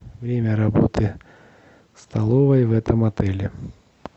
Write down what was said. время работы столовой в этом отеле